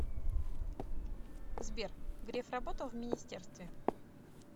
сбер греф работал в министерстве